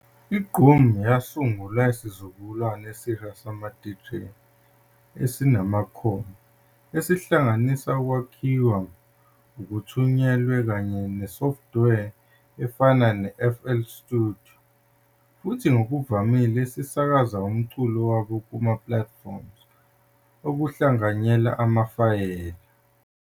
I-Gqom yasungulwa isizukulwane esisha samadJ anezikhono ezihlanganisa ukwakhiwa okuthunyelwe kanye nesofthiwe efana ne-FL Studio, futhi ngokuvamile esisakaza umculo wabo kuma-platforms okuhlanganyela amafayela.